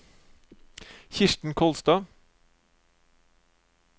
Kirsten Kolstad